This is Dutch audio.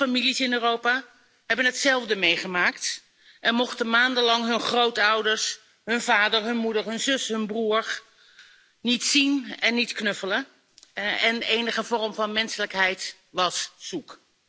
Veel families in Europa hebben hetzelfde meegemaakt en mochten maandenlang hun grootouders, hun vader, hun moeder, hun zus, hun broer niet zien en niet knuffelen, en enige vorm van menselijkheid was zoek.